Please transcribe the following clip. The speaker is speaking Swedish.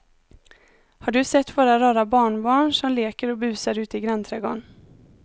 Har du sett våra rara barnbarn som leker och busar ute i grannträdgården!